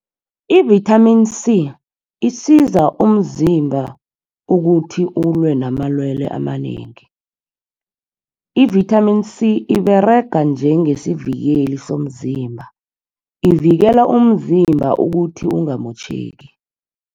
I-vitamin C, isiza umzimba ukuthi ulwe namalwele amanengi. I-vitamin C, iberega njengesivikeli somzimba. Ivikela umzimba ukuthi ungamotjheki.